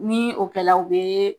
Ni o kɛ la o be